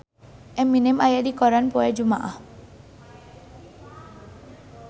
Eminem aya dina koran poe Jumaah